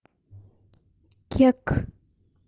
кек